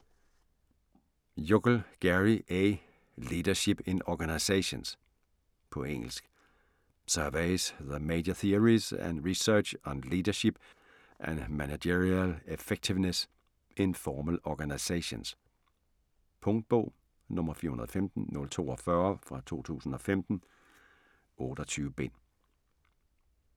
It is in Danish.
Yukl, Gary A.: Leadership in organizations På engelsk. Surveys the major theories and research on leadership and managerial effectiveness in formal organizations. Punktbog 415042 2015. 28 bind.